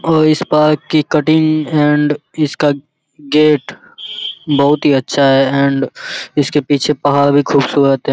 और इस पार्क की कटिंग एंड इसका गेट बहुत ही अच्छा है एंड इसके पीछे पहाड़ भी खूबसूरत है।